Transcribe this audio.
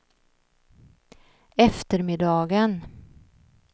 eftermiddagen